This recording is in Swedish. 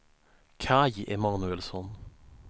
Kaj Emanuelsson